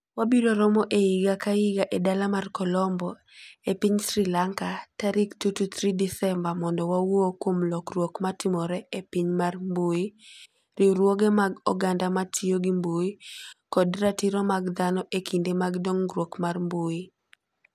Wabiro romo higa ka higa e dala mar Colombo, e piny Sri Lanka, tarik 2-3 Desemba mondo wawuo kuom lokruok matimore e piny mar mbui, riwruoge mag oganda ma tiyo gi mbui, kod ratiro mag dhano e kinde mag dongruok mar mbui.